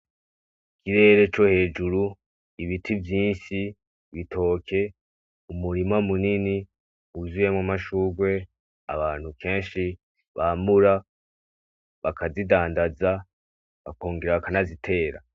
Hejuru Ibiti vyinshi, ibitoke, umurima munini wuzuyemo amashugwe, abantu kenshi bamura bakazidandaza bakongera bakanizitera.